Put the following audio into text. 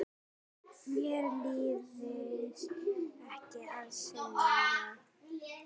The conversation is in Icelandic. Mér leiðist ekki að syngja.